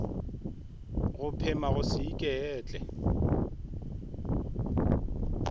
go phema go se iketle